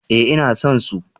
Eh ina son su.